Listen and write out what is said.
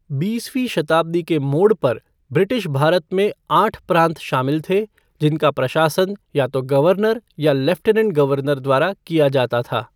बीसवीं शताब्दी के मोड़ पर, ब्रिटिश भारत में आठ प्रांत शामिल थे, जिनका प्रशासन या तो गवर्नर या लेफ़्टिनेंट गवर्नर द्वारा किया जाता था।